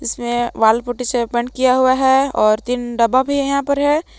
इसमें wall putty से paint किया हुआ है और तीन डब्बा भी यहां पर है।